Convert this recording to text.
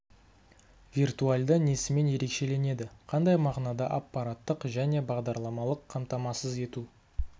виртуальды несімен ерекшеленеді қандай мағынада аппараттық және бағдарламалық қамтамасыз ету